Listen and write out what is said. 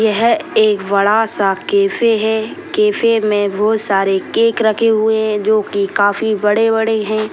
ये है एक बड़ा सा कैफ़े है कैफ़े मे बहुत सारे केक रखे हुए है जोकि काफी बड़े-बड़े है।